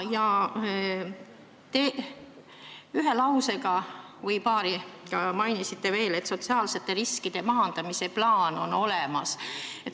Te ühe või paari lausega mainisite, et sotsiaalsete riskide maandamise plaan on olemas.